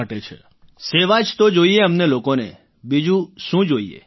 રાજેશ પ્રજાપતિઃ સેવા જ તો જોઈએ અમને લોકોને બીજું શું જોઈએ